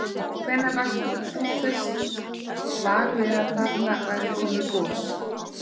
Hvenær varst þú fyrst var við að þarna væri komið gos?